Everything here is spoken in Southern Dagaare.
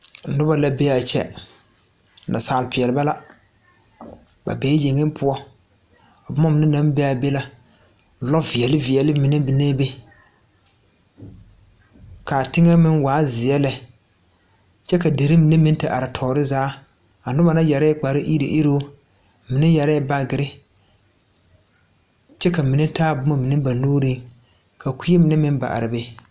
Bondirii tabol zu la ka dɔbɔ bayi aneŋ pɔge a zeŋ a dire bondirii ka glaaserre dɔgle be ka pɛbile meŋ a biŋ be ka bondirii mine a be o poɔŋ.